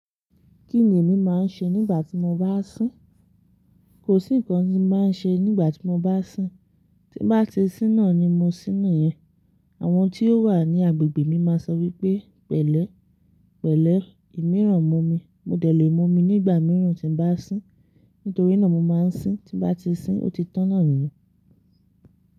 Kí ni èmi máa ń ṣe nígbà tí mo bá sín? Kò sí nǹkan tí mo máa ń ṣe nígbà tí mo bá sín. Tí báti síná na ni mo síni yẹn. Àwọn tí ó wà ní agbègbè mi máa sọ wípé, pẹ̀lẹ́, pẹ̀lẹ́, ìmíràn mo mi. Mo dẹ̀ lé mú mi nígbà mìíràn tí n bá sín. Nítorí náà mo máa ń sín. Tí báti sín, óti tọ̀n nà nìyẹn.